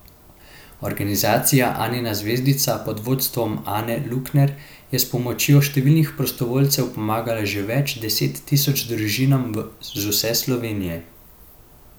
Organizacija Anina zvezdica, pod vodstvom Ane Lukner, je s pomočjo številnih prostovoljcev pomagala že več deset tisoč družinam z vse Slovenije.